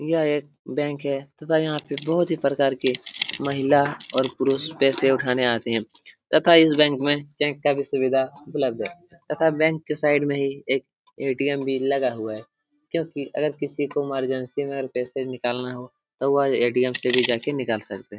यह एक बैंक है तथा यहां पे बहुत ही प्रकार के महिला और पुरुष पैसा उठाने आते है तथा इस बैंक में चेक का भी सुविधा उपलब्ध है तथा बैंक के साइड में ही एक ए.टी.एम भी लगा हुआ है क्योंकि अगर किसी को इमरजेंसी में पैसा निकालना हो तो वह ए.टी.एम. से भी निकल सकता है।